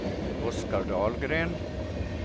Oskar Dahlgren